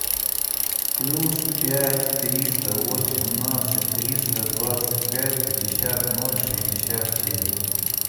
плюс пять триста восемнадцать триста двадцать пять пятьдесят ноль шестьдесят семь